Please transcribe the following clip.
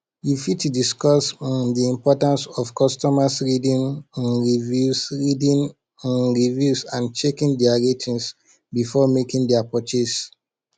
you fit discuss um di importance of customers reading um reviews reading um reviews and checking dia ratings before making dia purchase